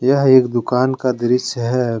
यह एक दुकान का दृश्य है।